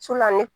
ne